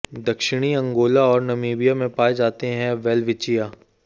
दक्षिणी अंगोला और नामीबिया में पाए जाते हैं वेलविचिया